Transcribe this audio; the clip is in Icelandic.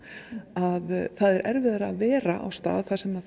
að það er erfiðara að vera á stað þar sem